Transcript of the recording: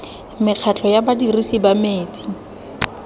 mekgatlho ya badirisi ba metsi